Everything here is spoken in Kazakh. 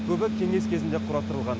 көбі кеңес кезінде құрастырылған